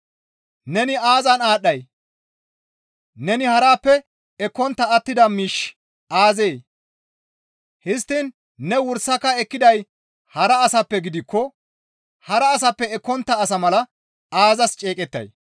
Neni aazan aadhdhay? Neni harappe ekkontta attida miishshi aazee? Histtiin ne wursaka ekkiday hara asappe gidikko hara asappe ekkontta asa mala aazas ceeqettay?